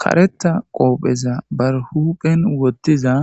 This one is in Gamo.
Karetha qopeza bare huphen wothiza